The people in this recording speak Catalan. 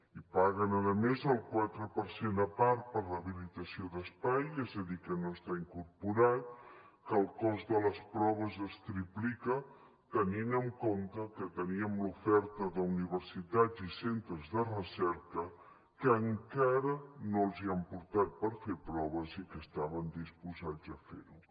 i paguen a més el quatre per cent a part per a l’habilitació d’espai és a dir que no hi està incorporat que el cost de les proves es triplica tenint en compte que teníem l’oferta d’universitats i centres de recerca que encara no els han portat per fer proves i que estaven disposats a fer ho